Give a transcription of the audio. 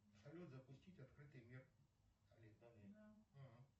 салют запустить открытый мир